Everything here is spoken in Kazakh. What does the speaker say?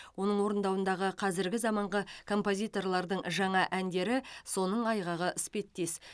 оның орындауындағы қазіргі заманғы композиторлардың жаңа әндері соның айғағы іспеттес